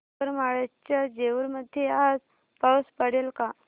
करमाळ्याच्या जेऊर मध्ये आज पाऊस पडेल का